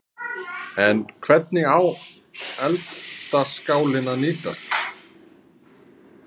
En hvernig á eldaskálinn að nýtast?